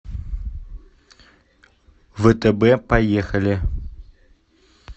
втб поехали